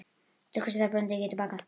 Til hvers þarf bóndi að geta bakað?